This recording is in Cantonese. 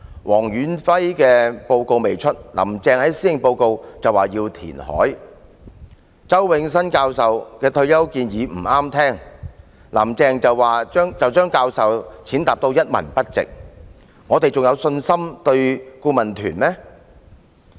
黃遠輝的報告尚未發表，"林鄭"便在施政報告說要填海；周永新教授的退休保障建議不中聽，"林鄭"便把教授踐踏得一文不值，我們對顧問團還會有信心嗎？